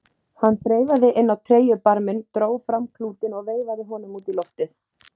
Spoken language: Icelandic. Hann þreifaði inn á treyjubarminn, dró fram klútinn og veifaði honum út í loftið.